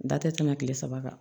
Da tɛ tɛmɛ kile saba kan